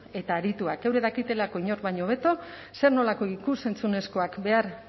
eta arituak eurek dakitelako inor baino hobeto zer nolako ikus entzunezkoak behar